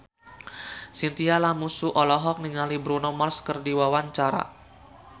Chintya Lamusu olohok ningali Bruno Mars keur diwawancara